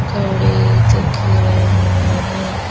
खड़े दिख रहे हैं।